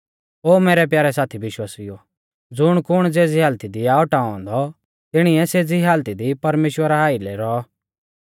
ओ मैरै प्यारै साथी विश्वासिउओ ज़ुण कुण ज़ेज़ी हालती आ औटाऔ औन्दौ तिणिऐ सेज़ी हालती दी परमेश्‍वरा आइलै रौ